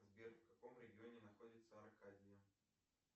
сбер в каком регионе находится аркадия